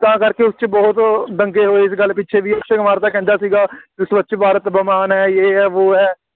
ਤਾਂ ਕਰਕੇ ਉਸ 'ਚ ਬਹੁਤ ਦੰਗੇ ਹੋਏ ਇਸ ਗੱਲ ਪਿੱਛੇ, ਬਈ, ਅਕਸ਼ੇ ਕੁਮਾਰ ਤਾਂ ਕਹਿੰਦਾ ਸੀਗਾ ਸਵੱਛ ਭਾਰਤ ਅਭਿਆਨ ਹੈ, ਯੇਹ ਹੈ, ਵੋਹ ਹੈ,